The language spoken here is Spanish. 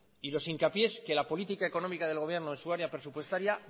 y los hincapiés que la política económica del gobierno en su área presupuestaria